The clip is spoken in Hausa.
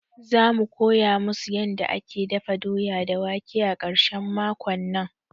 Za mu koya musu yanda ake dafa doya da wake a ƙarshen makon nan